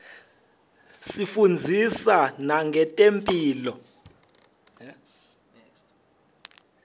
isifundzisa nangetemphilo